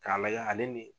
K'a lajɛ ale ni